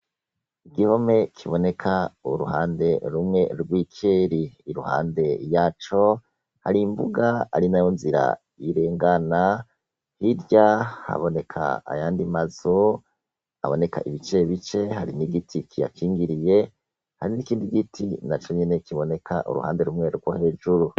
Igihome kiboneka uruhande rumwe rw'ikeri iruhande yaco har'imbuga arinayo nzira irengana, hirya haboneka ayandi mazu aboneka ibice bice hari n'igiti kiyakingiriye hari n'igiti naco nyene kiboneka uruhande rumwe rwo hejuru.